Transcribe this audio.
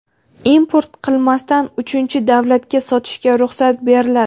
import qilmasdan uchinchi davlatga sotishga ruxsat beriladi.